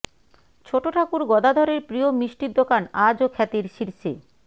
ছোটো ঠাকুর গদাধরের প্রিয় মিষ্টির দোকান আজও খ্যাতির শীর্ষে